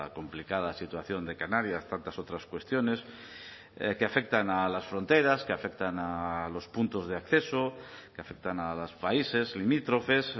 complicada situación de canarias tantas otras cuestiones que afectan a las fronteras que afectan a los puntos de acceso que afectan a los países limítrofes